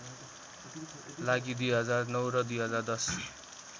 लागि २००९ र २०१०